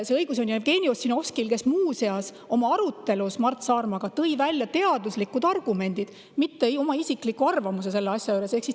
See õigus on Jevgeni Ossinovskil, kes muuseas tõi arutelus Mart Saarmaga välja teaduslikud argumendid, mitte isikliku arvamuse selle asja kohta.